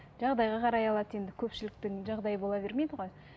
жағдайға қарай алады енді көпшіліктің жағдайы бола бермейді ғой